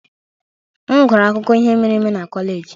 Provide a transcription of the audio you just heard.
M gụrụ akụkọ ihe mere eme na kọleji.